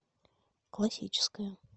классическая